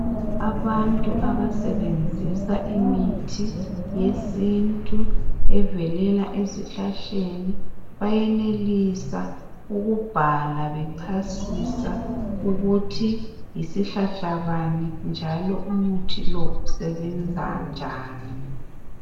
Abantu abasebenzisa imithi yesintu evelela ezihlahleni bayenelisa ukubhala bechasisa ukuthi yisihlahlabani njalo umuthi lo usebenza njani.